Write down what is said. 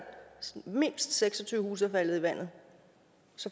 mindst seks og tyve huse er faldet i vandet